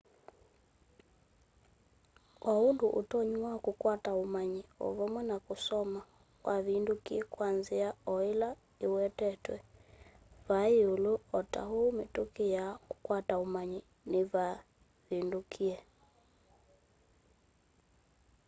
o undu utonyi wa kukwata umanyi o vamwe na kusoma wavindukie kwa nzia o ila iwetetwe vaa yiulu o ta uu mituki ya kukwata umanyi niyavindukie